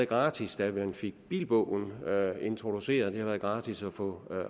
gratis da man fik bilbogen introduceret det har været gratis at få